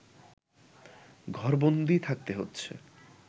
ঘরবন্দি থাকতে হচ্ছে